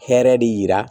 Hɛrɛ de yira